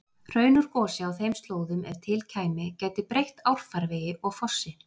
Hraun úr gosi á þeim slóðum, ef til kæmi, gæti breytt árfarvegi og fossi.